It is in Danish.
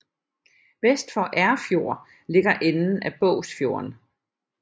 Vest for Erfjord ligger enden af Bogsfjorden